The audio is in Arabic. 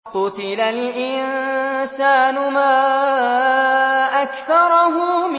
قُتِلَ الْإِنسَانُ مَا أَكْفَرَهُ